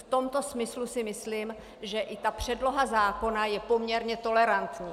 V tomto smyslu si myslím, že i ta předloha zákona je poměrně tolerantní.